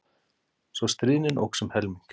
Svo stríðnin óx um helming.